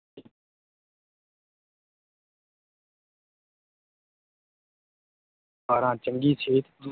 ਬਾਰਾਂ ਚੰਗੀ ਸਿਹਤ,